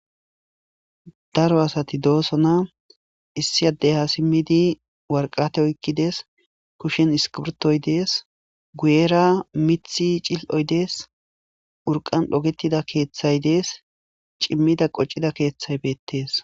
Daro asati doosona. Issi addey ha simmidi worqata oykki dees. Kushshen iskibrtoy dees .guyera mithi ciloy dees .Urqan dhogettida keeththay dees. Cimmida qocida keeththay beettes.